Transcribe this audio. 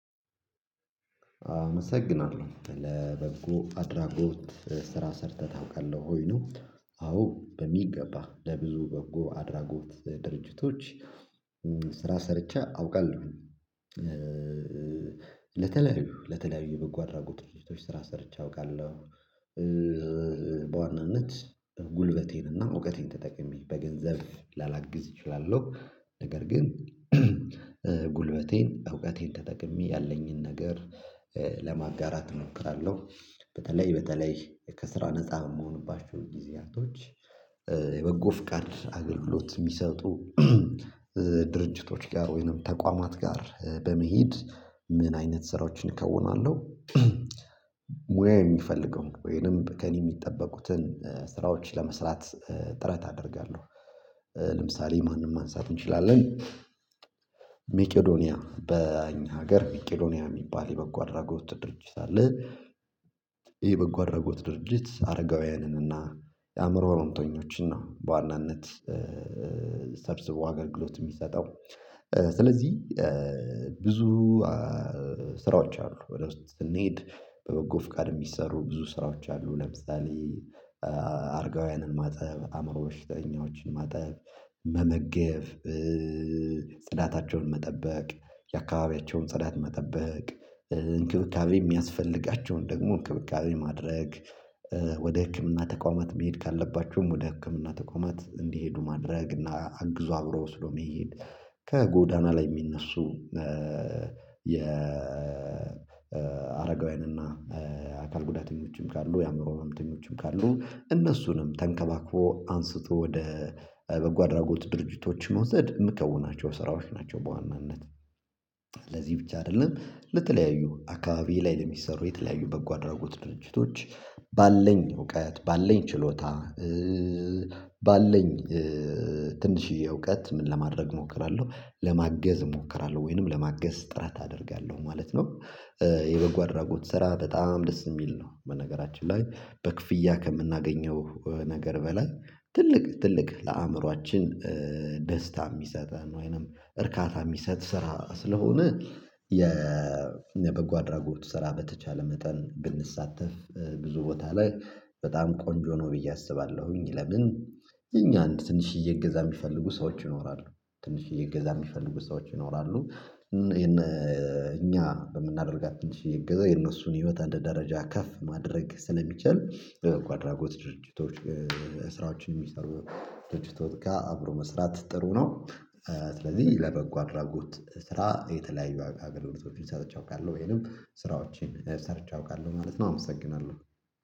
አመሰግናለሁ ለበጎ አድራጎት ስራ ሰርተህ ታውቃለህ ሆይ ነው? አዎ በሚገባ ለብዙ በጎ አድራጎት ድርጅቶች ስራ ሰርቼ አውቃለሁ። ለተለያዩ ለተለያዩ በጎ አድራጎት ድርጅቶች ስራ ሰርቼ አውቃለሁ። በዋናነት ጉልበቴንና እውቀቴን ተጠቅሜ በገንዘብ ላላግዝ እችላለሁ ነገር ግን ጉልበቴን እውቀቴን ተጠቅሜ ያለኝን ነገር ለማጋራት እሞክራለሁ። በተለይ በተለይ ከስራ ነፃ የምሆንባቸው ጊዜያቶች የበጎ ፍቃድ አገልግሎት የሚሰጡ ድርጅቶች ጋር ወይንም ተቋማት ጋር በመሄድ ምን አይነት ስራዎችን እከውናለሁ? ሙያ የሚፈልገው ወይንም ከእኔ የሚጠበቁትን ስራዎች ለመስራት ጥረት አደርጋለሁ። ለምሳሌ ማንም ማንሳት እንችላለን። ሜቄዶኒያ በኛ ሀገር ሜቄዶኒያ የሚባል የበጎ አድራጎት ድርጅት አለ። ይሄ የበጎ አድራጎት ድርጅት አረጋውያንን እና የአእምሮ ሮንተኞችን ነው በዋናነት ሰብስቦ አገልግሎት የሚሰጠው። ስለዚህ ብዙ ስራዎች አሉ ወደ ውስጥ ስንሄድ በበጎ ፍቃድ የሚሰሩ ብዙ ስራዎች አሉ። ለምሳሌ አርጋውያንን ማጠብ አእምሮ በሽተኞችን ማጠብ መመገብ ጽዳታቸውን መጠበቅ የአካባቢያቸውን ጽዳት መጠበቅ እንክብካቤ የሚያስፈልጋቸውን ደግሞ እንክብካቤ ማድረግ ወደ ህክምና ተቋማት መሄድ ካለባችሁም ወደ ህክምና ተቋማት እንዲሄዱ ማድረግ እና አግዞ አብሮ ወስዶ መሄድ። ከጎዳና ላይ የሚነሱ የአረጋውያን እና አካል ጉዳተኞችም ካሉ የአእምሮ ማምተኞችም ካሉ እነሱንም ተንከባክፎ አንስቶ ወደ በጎ አድራጎት ድርጅቶችን መውሰድ የምከውናቸው ስራዎች ናቸው። በዋናነት ለዚህ ብቻ አይደለም ለተለያዩ አካባቢ ላይ ለሚሰሩ የተለያዩ በጎ አድራጎት ድርጅቶች ባለኝ እውቀት ባለኝ ችሎታ ባለኝ ትንሽዬ እውቀት ምን ለማድረግ እሞክራለሁ ለማገዝ እሞክራለሁ ወይንም ለማገዝ ጥረት አደርጋለሁ ማለት ነው። የበጎ አድራጎት ስራ በጣም ደስ የሚል ነው። በነገራችን ላይ በክፍያ ከምናገኘው ነገር በላይ ትልቅ ትልቅ ለአእምሮአችን ደስታ የሚሰጠን ወይንም እርካታ የሚሰጥ ስራ ስለሆነ የ የበጎ አድራጎት ስራ በተቻለ መጠን ብንሳተፍ ብዙ ቦታ ላይ በጣም ቆንጆ ነው ብዬ አስባለሁኝ። ለምን እኛ አንድ ትንሽዬ እገዛ የሚፈልጉ ሰዎች ይኖራሉ ትንሽዬ እገዛ የሚፈልጉ ሰዎች ይኖራሉ። እኛ በምናደርጋት ትንሽዪ እገዛ የእነሱን ህይወት አንድ ደረጃ ከፍ ማድረግ ስለሚቻል ለበጎ አድራጎት ድርጅቶች ስራዎችን የሚሰሩ ድርጅቶች ጋር አብሮ መስራት ጥሩ ነው። ስለዚህ ለበጎ አድራጎት ስራ የተለያዩ አገልግሎቶችን ሰጥቻለሁ ወይንም ስራዎችን ሰርቼ አውቃለሁ ማለት ነው። አመሰግናለሁ።